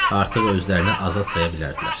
Artıq özlərini azad saya bilərdilər.